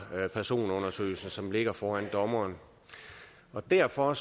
personundersøgelsen som ligger foran dommeren derfor